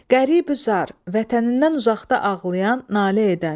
Qərib-ü-zar, vətənindən uzaqda ağlayan, nalə edən.